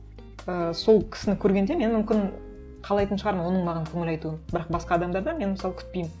і сол кісіні көргенде мен мүмкін қалайтын шығармын оның маған көңіл айтуын бірақ басқа адамдардан мен мысалы күтпеймін